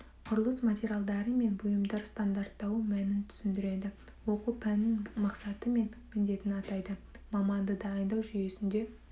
құрылыс материалдары мен бұйымдар стандарттауы мәнін түсіндіреді оқу пәнінің мақсаты мен міндетін атайды маманды дайындау жүйесінде